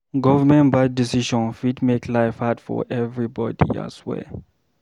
Government bad decision fit make life hard for everybody ahswear.